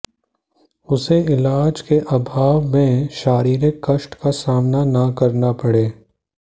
उसे इलाज के अभाव में शारीरिक कष्ट का सामना न करना पड़े